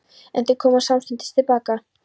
En þau koma samstundis til baka.